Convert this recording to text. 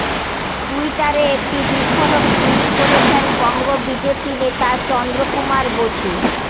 টুইটারে একটি বিস্ফোরক টুইট করেছেন বঙ্গ বিজেপি নেতা চন্দ্র কুমার বসু